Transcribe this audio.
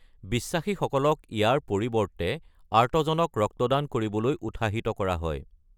বিশ্বাসীসকলক ইয়াৰ পৰিৱৰ্তে আৰ্তজনক ৰক্তদান কৰিবলৈ উৎসাহিত কৰা হয়।